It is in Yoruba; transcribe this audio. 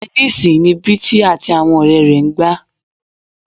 Tẹníìsì ni Bísí àti àwọn ọ̀rẹ́ rẹ̀ ń gbá